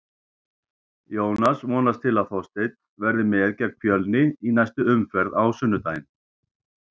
Jónas vonast til að Þorsteinn verði með gegn Fjölni í næstu umferð á sunnudaginn.